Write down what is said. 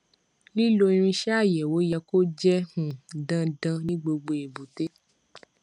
lílo irinṣẹ àyẹwò yẹ kó jẹ um dandan ní gbogbo èbúté